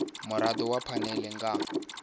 mirado ya phanele i nga